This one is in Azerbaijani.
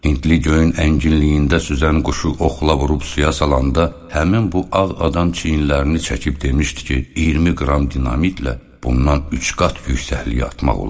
Hindli göyün ənginliyində süzən quşu oxla vurub suya salanda həmin bu ağ adam çiyinlərini çəkib demişdi ki, 20 qram dinamitlə bundan üç qat yüksəkliyə atmaq olar.